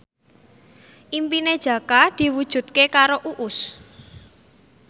impine Jaka diwujudke karo Uus